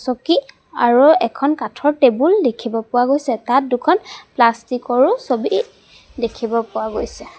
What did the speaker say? চকী আৰু এখন কাঠৰ টেবুল দেখিব পোৱা গৈছে তাত দুখন প্লাষ্টিক ৰো ছবি দেখিব পোৱা গৈছে।